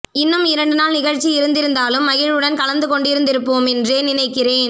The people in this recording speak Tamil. இன்னும் இரண்டு நாள் நிகழ்ச்சி இருந்திருந்தாலும் மகிழ்வுடன் கலந்து கொண்டிருந்திருப்போமென்றே நினைக்கிறேன்